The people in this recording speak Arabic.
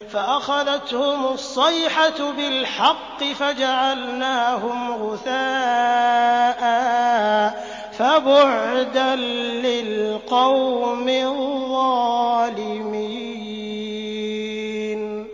فَأَخَذَتْهُمُ الصَّيْحَةُ بِالْحَقِّ فَجَعَلْنَاهُمْ غُثَاءً ۚ فَبُعْدًا لِّلْقَوْمِ الظَّالِمِينَ